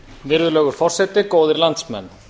virðulegur forseti góðir landsmenn